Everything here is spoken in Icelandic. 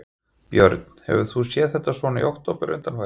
Björn: Hefur þú séð þetta svona í október undanfarið?